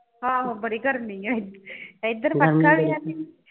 ਆਹੋ ਬੜੀ ਗਰਮੀ ਹੈਗੀ ਇਧਰ ਪੱਖਾ ਵੀ ਹੈ ਨਈਂ।